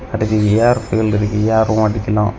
கடைசில air fill இருக்கு air உம் அடிக்கலாம்.